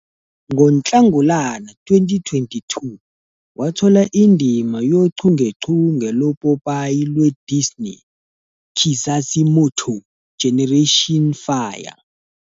NgoNhlangulana 2022, wathola indima yochungechunge lopopayi lwe- "Disney plus" "Kizazi Moto- Generation Fire".